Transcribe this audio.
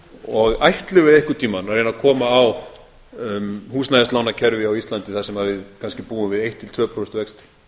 og ætlum við einhvern tímann að reyna að koma á húsnæðislánakerfi á íslandi þar sem við kannski búum við eitt til tvö prósent vexti